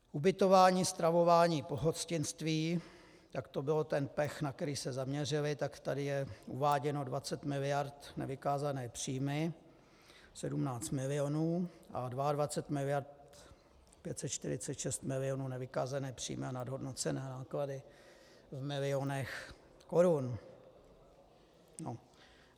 Ubytování, stravování, pohostinství, tak to byl ten pech, na který se zaměřili, tak tady je uváděno 20 miliard nevykázané příjmy 17 milionů a 22 miliard 546 milionů nevykázané příjmy a nadhodnocené náklady v milionech korun.